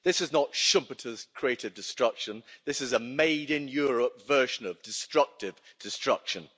This is not Schumpeter's creative destruction' this is a made in Europe version of destructive destruction.